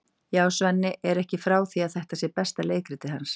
Já, Svenni er ekki frá því að þetta sé besta leikritið hans.